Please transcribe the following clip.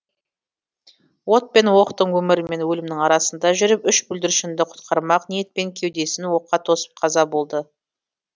от пен оқтың өмір мен өлімнің арасында жүріп үш бүлдіршінді құтқармақ ниетпен кеудесін оққа тосып қаза болады